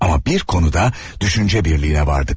Ama bir konuda düşünce birliğine vardık.